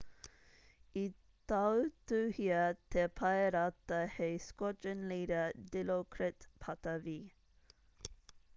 i tautuhia te paerata hei squadron leader dilokrit pattavee